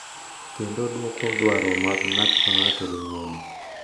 Kendo dwoko dwaro mag ng’ato ka ng’ato gi ng’uono.